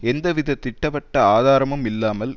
எந்த வித திட்டவட்ட ஆதாரமும் இல்லாமல்